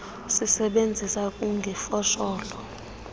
sisebenzisa kugug ifosholo